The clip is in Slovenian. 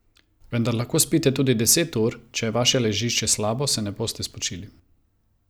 Vendar lahko spite tudi deset ur, če je vaše ležišče slabo, se ne boste spočili.